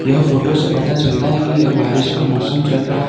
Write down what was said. यह फोटो से पता चलता है की यह बारिश का मौसम चल रहा --